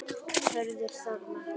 Hörður Þormar.